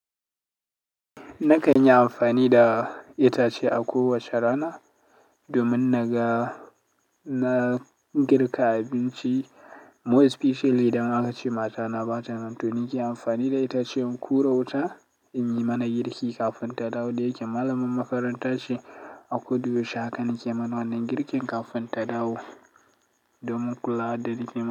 Na kan yi amfani da itace a kowace rana domin na ga na girka abinci. Most specially idan aka ce mata na bata nan. To nike amfani da itace in hura wuta inyi mana girki kafin ta dawo da ike malamin makarantace. A koda yaushe haka na ke mana wannan girkin kafin ta dawo domin kula da rigima.